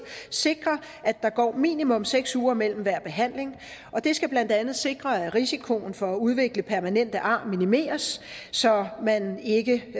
sikre at der går minimum seks uger mellem hver behandling og det skal blandt andet sikre at risikoen for at udvikle permanente ar minimeres så man ikke